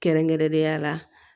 Kɛrɛnkɛrɛnnenya la